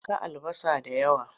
Yanka albasa da yawa!